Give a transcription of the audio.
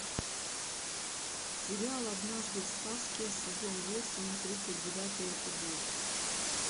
сериал однажды в сказке сезон восемь тридцать девятый эпизод